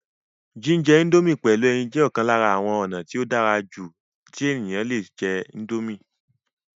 jíjẹ índómì pẹ̀lú ẹyin jẹ́ ọ̀kan lára àwọn ònà tí ó dára jù tí èèyàn le jẹ́ índómì